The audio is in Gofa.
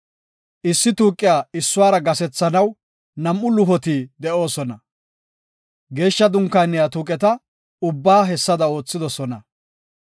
Issi tuuqiya issuwara gasethanaw nam7u luhoti de7oosona. Geeshsha Dunkaaniya tuuqeta ubbaa hessada oothidosona.